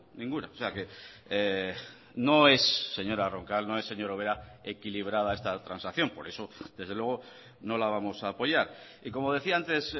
ninguna o sea que no es señora roncal no es señora ubera equilibrada esta transacción por eso desde luego no la vamos a apoyar y como decía antes